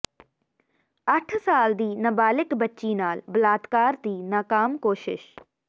ਅੱਠ ਸਾਲ ਦੀ ਨਬਾਲਿਗ ਬੱਚੀ ਨਾਲ ਬਲਾਤਕਾਰ ਦੀ ਨਾਕਾਮ ਕੋਸਿਸ਼